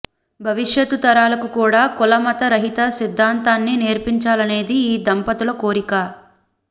భవిష్యత్తు తరాలకు కూడా కులమత రహిత సిద్ధాంతాన్ని నేర్పించాలనేది ఈ దంపతుల కోరిక